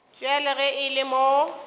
bjale ge e le mo